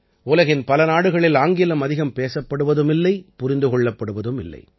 உலகின் பல நாடுகளில் ஆங்கிலம் அதிகம் பேசப்படுவதுமில்லை புரிந்து கொள்ளப்படுவதும் இல்லை